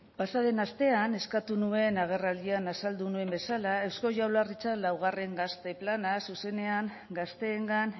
pasaden astean eskatu nuen agerraldian azaldu nuen bezala eusko jaurlaritzak laugarren gazte plana zuzenean gazteengan